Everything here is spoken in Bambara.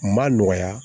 Ma nɔgɔya